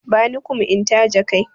Bani kum in tace kai na!